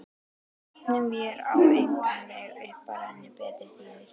Efum vér á engan veg upp að renni betri tíðir